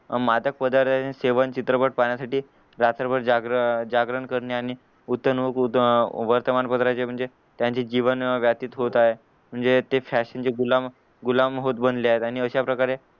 मातक पदार्थांचे सेवन चित्रपट पाहण्यासाठी रात्रभर जागरण जागरण करणे आणि वर्तमानपत्राचे म्हणजे त्यांचे जीवन व्यथित होत आहे म्हणजे ते ते फॅशन चे गुलाम गुलाम होत बनले आहेत आणि अशाप्रकारे